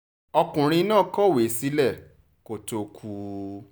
ọkùnrin náà kọ̀wé sílẹ̀ kó tóó kú